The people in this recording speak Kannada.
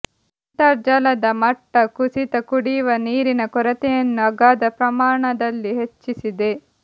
ಅಂತರ್ಜಲದ ಮಟ್ಟ ಕುಸಿತ ಕುಡಿವ ನೀರಿನ ಕೊರತೆಯನ್ನು ಅಗಾಧ ಪ್ರಮಾಣದಲ್ಲಿ ಹೆಚ್ಚಿಸಿದೆ